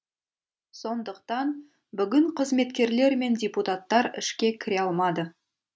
сондықтан бүгін қызметкерлер мен депутаттар ішке кіре алмады